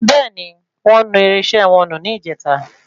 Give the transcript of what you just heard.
Bẹ́ẹ̀ni, wọ́n nu irinṣẹ́ wọn nù ní ìjèta